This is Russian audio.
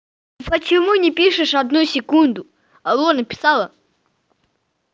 почему не пишешь одну секунду алло написала